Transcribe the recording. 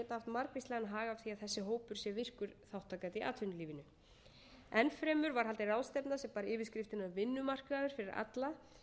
þessi hópur sé virkur þátttakandi í atvinnulífinu enn fremur var haldin ráðstefna sem bar yfirskriftina vinnumarkaður fyrir alla